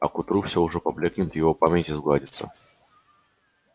а к утру всё уже поблёкнет в его памяти сгладится